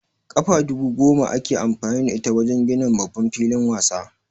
Kafa dubu goma ake amfani da ita wajen ginin babban filin wasa